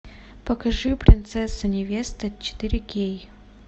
покажи принцесса невеста четыре кей